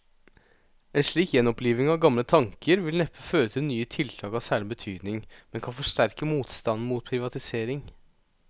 En slik gjenoppliving av gamle tanker vil neppe føre til nye tiltak av særlig betydning, men kan forsterke motstanden mot privatisering.